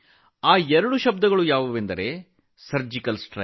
ಈ ಎರಡು ಪದಗಳೆಂದರೆ ಸರ್ಜಿಕಲ್ ಸ್ಟ್ರೈಕ್